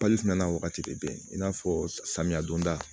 na wagati de bɛ i n'a fɔ samiya donda